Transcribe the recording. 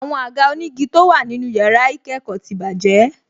Àwọn àga onígi tó wà nínú yàrá ìkẹ́kọ̀ọ́ ti bàjẹ́